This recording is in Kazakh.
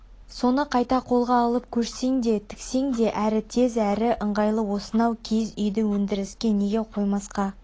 соны қайта қолға алып көшсең де тіксең де әрі тез әрі ыңғайлы осынау киіз үйді өндіріске неге қоймасқа